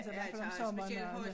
I hvert fald om sommeren der er der